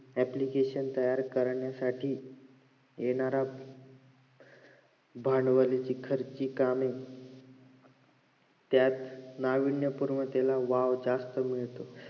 application तयार करण्यासाठी येणाऱ्या भांडवलाचे खर्ची कामे त्यात नावीन्यपूर्व त्याला वाव जास्त मिळतो